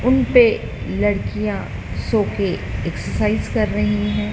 उनपे लड़कियां सो के एक्सर्साइज कर रही है।